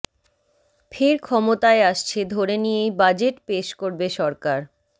ফের ক্ষমতায় আসছে ধরে নিয়েই বাজেট পেশ করবে সরকার